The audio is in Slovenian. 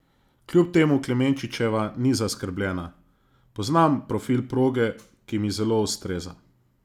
Kljub temu Klemenčičeva ni zaskrbljena: "Poznam profil proge, ki mi zelo ustreza.